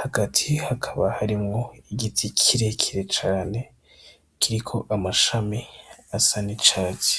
hagati hakaba harimwo igiti kirekire cane kiriko amashami asa n'icatsi.